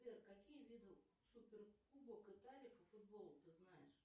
сбер какие виды супер кубок италии по футболу ты знаешь